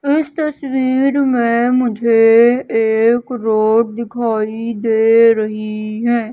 इस तस्वीर में मुझे एक रोड दिखाई दे रही हैं।